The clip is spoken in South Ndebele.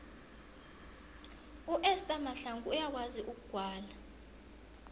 uester mahlangu uyakwazi ukugwala